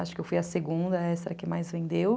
Acho que eu fui a segunda extra que mais vendeu.